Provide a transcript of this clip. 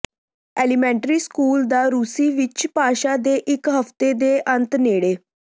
elementary school ਦਾ ਰੂਸੀ ਵਿਚ ਭਾਸ਼ਾ ਦੇ ਇੱਕ ਹਫ਼ਤੇ ਦੇ ਅੰਤ ਨੇੜੇ